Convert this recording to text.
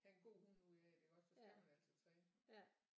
Have en god hund ud af det iggås så skal man altså træne